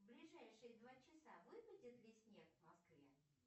в ближайшие два часа выпадет ли снег в москве